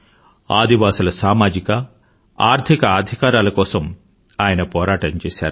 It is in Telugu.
ఆదివాసుల సామజిక ఆర్థిక అధికారాల కోసం కూడా ఆయన పోరాటం చేశారు